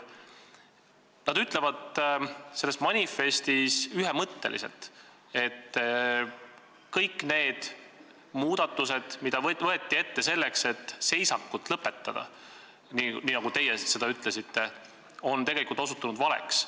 " Nad ütlevad selles manifestis ühemõtteliselt, et kõik need muudatused, mis võeti ette selleks, et seisak lõpetada, nii nagu teie seda põhjendasite, on tegelikult osutunud valeks.